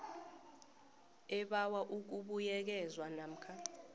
ebawa ukubuyekezwa namkha